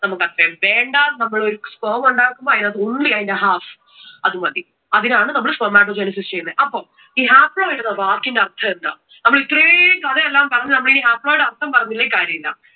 നമുക് അത്രേം വേണ്ട. നമ്മൾ ഒരു sperm ഉണ്ടാക്കുമ്പോൾ അതിന്റെ അകത്തു only അതിന്റെ half അത് മതി. അതിനാണ് നമ്മൾ spermatogenesis ചെയ്യുന്നേ. അപ്പോൾ ഈ haploid എന്ന വാക്കിന്റെ അർഥം എന്താ? അപ്പോ ഇത്രേം കഥ എല്ലാം പറഞ്ഞു ഇനി നമ്മൾ haploid അർഥം പറഞ്ഞില്ലെങ്കിൽ കാര്യമില്ല.